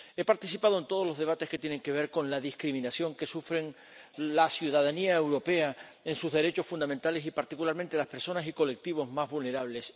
He participado en todos los debates que tienen que ver con la discriminación que sufre la ciudadanía europea en sus derechos fundamentales, y particularmente las personas y colectivos más vulnerables.